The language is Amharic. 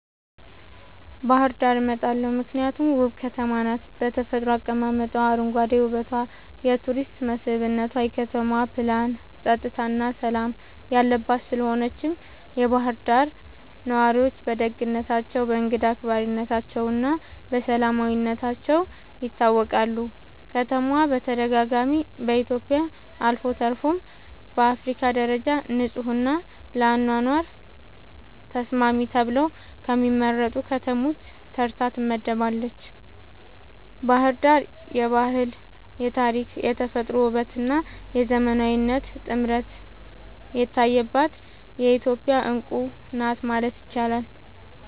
ባህር ዳርን እመርጣለሁ ምክንያቱም ውብ ከተማ ናት በተፈጥሮ አቀማመጧ, አረንጓዴ ዉበቷ የቱሪስት መስብነቷ, የከተማዋ ፕላንናፀጥታና ሠላም የለባት ስለሆነችም የባህር ዳር ነዋሪዎች በደግነታቸው፣ በእንግዳ አክባሪነታቸውና በሰላማዊነታቸው ይታወቃሉ። ከተማዋ በተደጋጋሚ በኢትዮጵያ አልፎ ተርፎም በአፍሪካ ደረጃ ንጹሕና ለአኗኗር ተስማሚ ተብለው ከሚመረጡ ከተሞች ተርታ ትመደባለች። ባሕር ዳር የባህል፣ የታሪክ፣ የተፈጥሮ ውበትና የዘመናዊነት ጥምረት የታየባት የኢትዮጵያ ዕንቁ ናት ማለት ይቻላል።